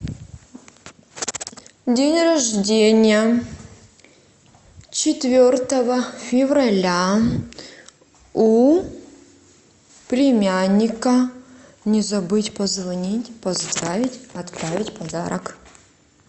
день рождения четвертого февраля у племянника не забыть позвонить поздравить отправить подарок